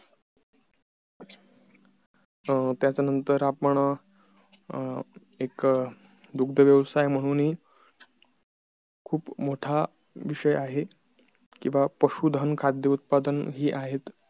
अं त्याच्या नंतर आपण अं एक दुग्ध व्यवसाय म्हणून हि खूप मोठा विषय आहे किंवा पशु धन खाद्य उत्पादन हि आहेत